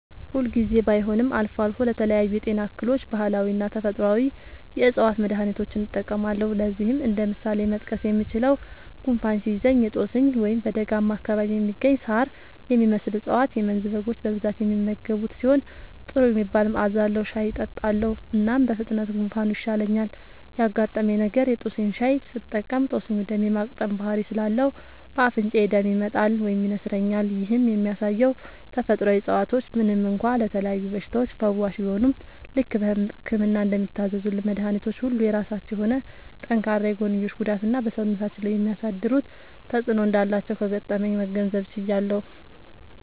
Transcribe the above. ሁል ጊዜ ባይሆንም አልፎ አልፎ ለተለያዩ የጤና እክሎች ባህላዊና ተፈጥአዊ የ ዕፅዋት መድሀኒቶችን እጠቀማለሁ። ለዚህም እንደ ምሳሌ መጥቀስ የምችለው፣ ጉንፋን ሲይዘኝ የ ጦስኝ (በደጋማ አካባቢ የሚገኝ ሳር የሚመስል እፀዋት - የመንዝ በጎች በብዛት የሚመገቡት ሲሆን ጥሩ የሚባል መዐዛ አለዉ) ሻይ እጠጣለሁ። እናም በፍጥነት ጉንፋኑ ይሻለኛል። ያጋጠመኝ ነገር:- የ ጦስኝ ሻይ ስጠቀም ጦስኙ ደም የ ማቅጠን ባህሪ ስላለው በ አፍንጫዬ ደም ይመጣል (ይነስረኛል)። ይህም የሚያሳየው ተፈጥሮአዊ እፀዋቶች ምንም እንኳ ለተለያዩ በሽታዎች ፈዋሽ ቢሆኑም፣ ልክ በህክምና እንደሚታዘዙልን መድኃኒቶች ሁሉ የራሳቸው የሆነ ጠንካራ የጎንዮሽ ጉዳትና በ ሰውነታችን ላይ የሚያሳድሩት ተጵዕኖ እንዳላቸው ከገጠመኜ መገንዘብ ችያለሁ።